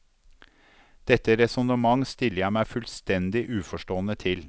Dette resonnement stiller jeg meg fullstendig uforstående til.